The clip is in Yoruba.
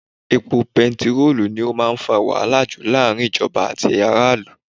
Epo bẹntiróò ni ó máa ń fa wàhálà jù láàrin ìjọba àti aráàlú.